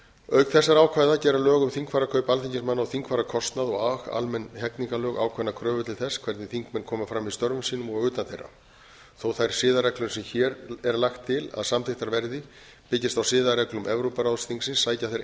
auk þessara ákvæða gera lög um þingfararkaup alþingismanna og þingfararkostnað og almenn hegningarlög ákveðnar kröfur til þess hvernig þingmenn koma fram í störfum sínum og utan þeirra þó að þær siðareglur sem hér er lagt til að samþykktar verði byggist á siðareglum evrópuráðsþingsins sækja þær